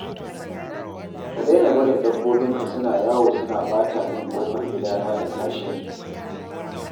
Ka daina barin dabbobinka suna yawo suna ɓata min ƙofar gidana da kashinsu